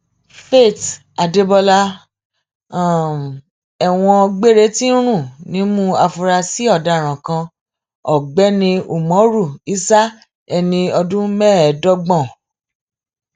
faith adébọlá um ẹwọn gbére ti ń rùn nímú àfúrásì ọdaràn kan ọgbẹni umoru isah ẹni ọdún mẹẹẹdọgbọn